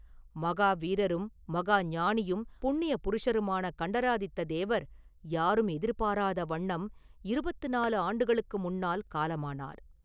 மகா வீரரும் மகா ஞானியும் புண்ணிய புருஷருமான கண்டராதித்ததேவர் யாரும் எதிர்பாராத வண்ணம் இருபத்து நாலு ஆண்டுகளுக்கு முன்னால் காலமானார்.